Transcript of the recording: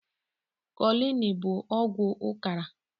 Kolini bu ọgwụ ụkara